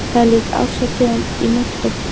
Það er líka árshátíð í menntó.